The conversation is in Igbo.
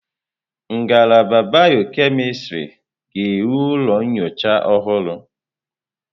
Ngalaba bịọ-kemịstrị ga-enwe ụlọ nyocha ọhụrụ.